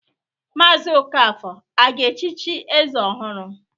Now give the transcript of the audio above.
Mazi Okafor a ga-echichi eze ọhụrụ?